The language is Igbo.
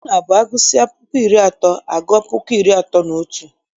Ọ na-abụ agụsịa puku iri atọ agua puku iri atọ na otu.